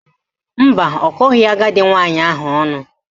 Mba, ọ kọghị agadi nwaanyị ahụ ọnụ